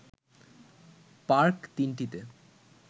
park ৩ টিতে